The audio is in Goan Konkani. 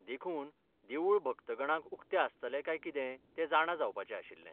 देखून, देवूळ भक्तगणांक उक्तें आसतलें काय कितें तें जाणा जावपाचें आशिल्लें.